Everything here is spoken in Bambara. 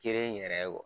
Kelen yɛrɛ ye